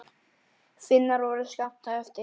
Finnar voru skammt á eftir.